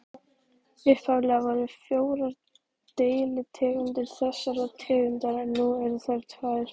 Upphaflega voru fjórar deilitegundir þessarar tegundar en nú eru þær tvær.